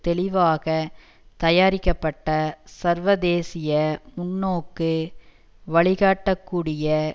தெளிவாக தயாரிக்கப்பட்ட சர்வதேசிய முன்னோக்கு வழிகாட்டக்கூடிய